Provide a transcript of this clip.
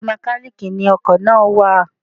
Ọ̀dọ̀ Mẹ́kálíkì ni ọkọ̀ náà wà.